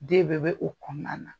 Den bɛɛ bɛ o kɔnɔna na.